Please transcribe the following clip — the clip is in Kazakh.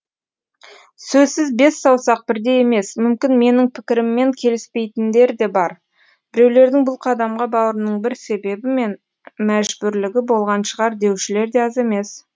сөзсіз бес саусақ бірдей емес мүмкін менің пікіріммен келіспейдіндер де бар біреулердің бұл қадамға баруының бір себебі мен мәжбүрлігі болған шығар деушілер де аз емес